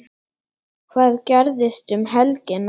Hvað gerist um helgina?